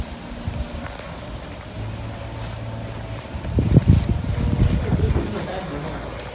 ભાઈ briefing નો time મળે આમાં.